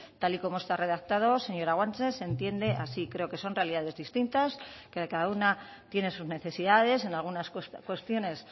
tal y como está redactado señora guanche se entiende así creo que son realidades distintas que cada una tiene sus necesidades en algunas cuestiones